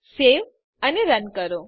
save અને run કરો